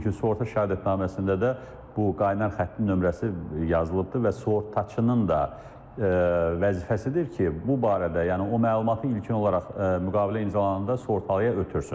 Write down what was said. Çünki sığorta şəhadətnaməsində də bu qaynar xəttin nömrəsi yazılıbdır və sığortaçının da vəzifəsidir ki, bu barədə, yəni o məlumatı ilkin olaraq müqavilə imzalananda sığortalıya ötürsün.